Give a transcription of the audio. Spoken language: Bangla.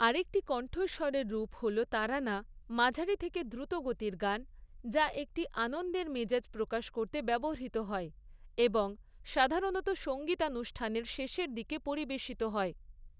আরেকটি কণ্ঠস্বরের রূপ হল তারানা, মাঝারি থেকে দ্রুত গতির গান, যা একটি আনন্দের মেজাজ প্রকাশ করতে ব্যবহৃত হয় এবং সাধারণত সঙ্গীতানুষ্ঠানের শেষের দিকে পরিবেশিত হয়।